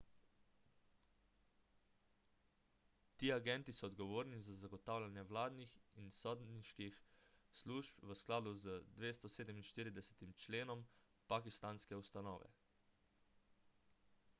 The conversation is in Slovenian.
ti agenti so odgovorni za zagotavljanje vladnih in sodniških služb v skladu z 247 členom pakistanske ustave